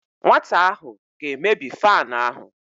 Nwata ahụ ga-emebi fanụ ahụ.